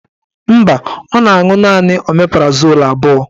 Mba, ọ na-aṅụ naanị omeprazol abụọ